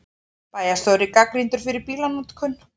Bæjarstjóri gagnrýndur fyrir bílanotkun